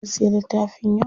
Mun siya littafin yau.